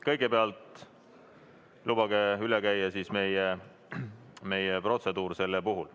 Kõigepealt lubage tutvustada meie protseduuri selle puhul.